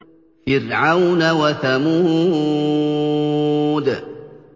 فِرْعَوْنَ وَثَمُودَ